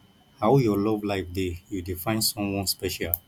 how your love life dey you dey find someone special